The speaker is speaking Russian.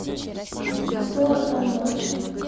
сто одна ночь